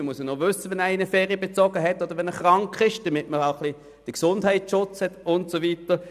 Man müsse schliesslich wissen, wenn jemand Ferien bezogen habe oder krank sei, um den Gesundheitsschutz gewährleisten zu können.